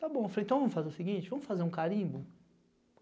Tá bom, falei, então vamos fazer o seguinte, vamos fazer um carimbo?